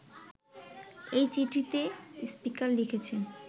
এই চিঠিতে স্পিকার লিখেছেন